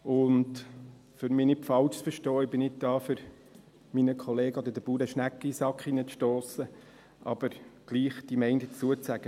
Damit man mich nicht falsch versteht: Ich bin nicht hier, um meinen Kollegen oder den Bauern Schnecken in den Hosensack zu stossen, möchte aber trotzdem meine Meinung dazu sagen.